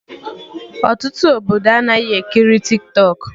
Ọtụtụ Obodo anaghị ekiri Tiktọk